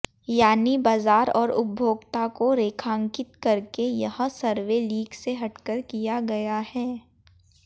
यानी बाजार और उपभोक्ता को रेखांकित करके यह सर्वे लीक से हटकर किया गया है